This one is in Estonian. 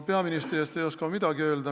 Peaministri eest ei oska ma midagi öelda.